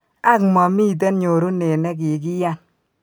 Ak, momiiten nyorunet ne kikiyan.